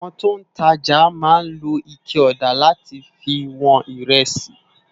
Awòn tó n tàjá má n ló iké òdá làtí fi wòn irèsí